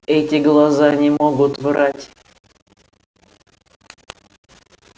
эти глаза не могут врать